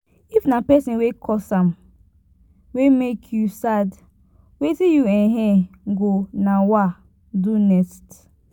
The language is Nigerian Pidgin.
if na pesin wey cause am wey mek yu sad wetin yu um go um do next